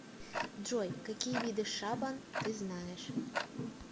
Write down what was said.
джой какие виды шабан ты знаешь